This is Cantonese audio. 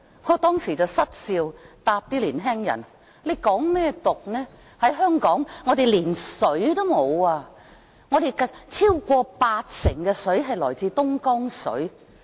我當時失笑回答年輕人，還說甚麼港獨，香港連水也沒有，我們超過八成食水來自東江水。